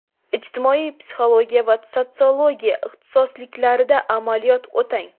ijtimoiy psixologiya va sotsiologiya ixtisosliklarida amaliyot o‘tang.